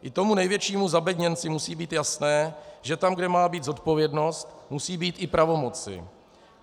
I tomu největšímu zabedněnci musí být jasné, že tam, kde má být zodpovědnost, musí být i pravomoci.